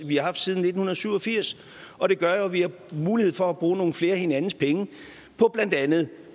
vi har haft siden nitten syv og firs og det gør jo at vi har mulighed for at bruge nogle flere af hinandens penge på blandt andet